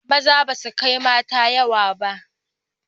Maza basu kai mata yawa ba